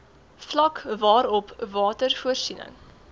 vlak waarop watervoorsiening